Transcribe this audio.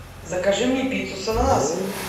закажи мне пиццу с ананасами